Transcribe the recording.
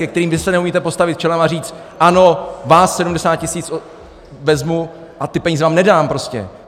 Ke kterým vy se neumíte postavit čelem a říct ano, vás 70 tisíc vezmu a ty peníze vám nedám prostě.